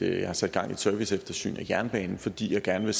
har sat gang i et serviceeftersyn af jernbanen fordi jeg gerne